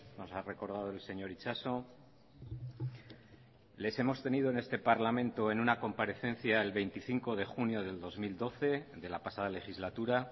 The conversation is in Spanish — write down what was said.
nos ha recordado el señor itxaso les hemos tenido en este parlamento en una comparecencia el veinticinco de junio del dos mil doce de la pasada legislatura